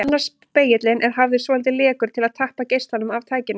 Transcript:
Annar spegillinn er hafður svolítið lekur til að tappa geislanum af tækinu.